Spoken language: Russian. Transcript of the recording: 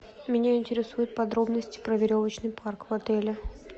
меня интересуют подробности про веревочный парк в отеле